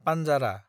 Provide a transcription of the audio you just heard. पान्जारा